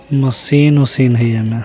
मशीन वसीन है य न।